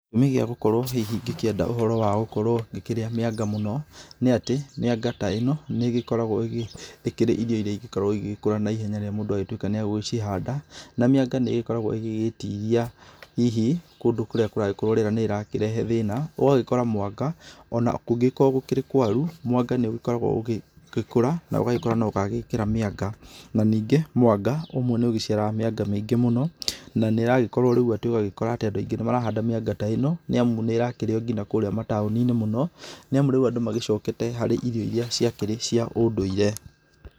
Gĩtũmi kĩa gũkorwo hihi ngĩkĩenda ũhoro wa gũkorwo ngĩkĩrĩa mĩanga mũno, nĩ atĩ, mĩanga ta ĩno nĩ ĩgĩkoragwo ĩkĩrĩ irio iria ingĩkorwo igĩkũra naihenya rĩrĩa mũndũ atuĩka nĩ agũgĩcihanda, na mĩanga nĩ ĩgĩkoragwo igĩgĩtiria hihi kũndũ kũrĩa kũragĩkorwo rĩera nĩrĩrakĩrehe thĩĩna, ũgagĩkora mwanga, ona kũngĩgĩkorwo gũkĩrĩ kũaru, mwanga nĩ ũgĩkoragwo ũgĩkũra na ũgagĩkũra na ũgagĩkĩra mĩanga. Na ningĩ mwanga, ũmwe nĩ ũgĩciaraga mĩanga mĩingi mũno, na nĩ ĩragĩkorwo rĩu atĩ ũgagĩkora atĩ andũ aingĩ nĩ marahanda mĩanga ta ĩno, nĩ amu nĩ ĩrakĩrĩo nginya kũrĩa mataũni-inĩ mũno, nĩ amu rĩu andũ magĩcokete harĩ irio irĩa ciakĩrĩ cia ũndũire.